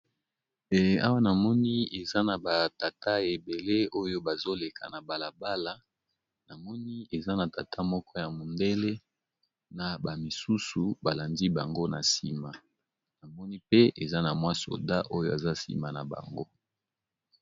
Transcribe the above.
Awa namoni eza na batata ebele oyo bazoleka na balabala namoni eza na tata moko ya mondele na bamisusu balandi bango na nsima namoni pe eza na mwa soda oyo aza nsima na bango.